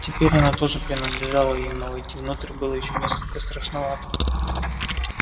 теперь она тоже принадлежала им но войти внутрь было ещё несколько страшновато